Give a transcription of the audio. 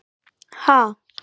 Ha?!